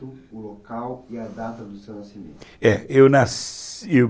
o local e a data do seu nascimento, é eu nasci